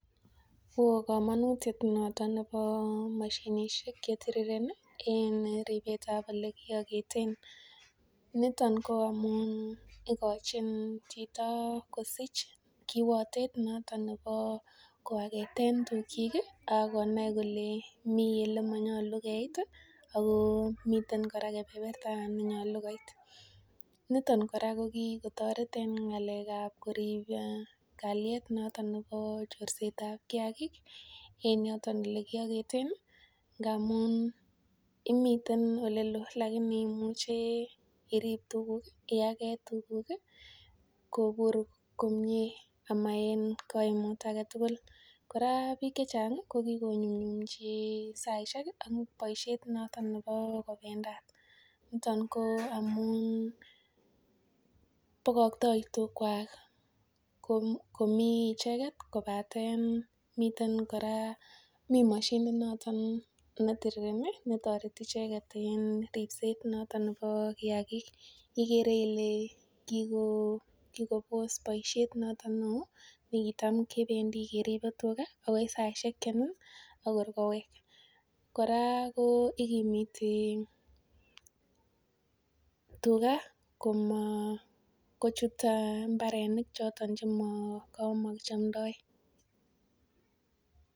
Oh kamanutiet nebo mashinisiek chetirirendos en ribsetab olikiageten. Niton ko amuun ikochin chito kosich kiwatet noton koageteen tukchik ih akonai kole miten olemanyalu keit ih akomiten kebeberta nenyalu koit. Nito kora kokikotaret en ng'alekab korib kaliet en chorsetab kiagik en yoton olekiageten ih ngamuun imiten olelo alakini iakete iribe tuguk iage tuguk ih kobur komie ama en kaimut ake tugul. Kora bik chechang ih ko Kiko nyumnyumchi saisiek amuun boisiet noton kobendat. Niton ko amuun bakakta komi icheken miten mashinit kora netirireni kotoreti icheket en ribsetab kiagik. Igere kikobos boisiet noton neoo nikitam kebendi keribe tua akoi saisiek che Nini akor kowek. Kora ikimite tuga kochut mbarenik choton chema chemakichomtaa.